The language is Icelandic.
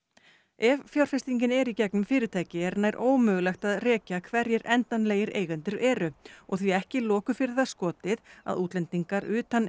ef fjárfestingin er í gegnum fyrirtæki er nær ómögulegt að rekja hverjir endanlegir eigendur eru og því ekki loku fyrir það skotið að útlendingar utan